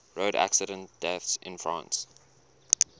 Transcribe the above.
road accident deaths in france